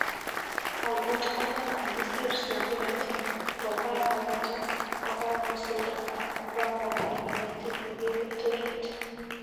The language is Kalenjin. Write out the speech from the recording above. Ak ngot Cuba kokisir sungulet kokakopata kokakosulda ak kopaipaiti ik emet orit.